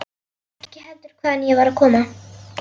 Ekki heldur hvaðan ég var að koma.